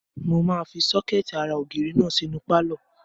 Mo máa fi sọ́kẹ̀tì ara ògiri náà sínú pálọ̀